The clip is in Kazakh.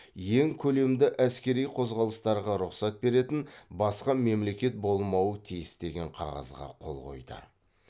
ең көлемді әскери қозғалыстарға рұқсат беретін басқа мемлекет болмауы тиіс деген қағазға қол қойды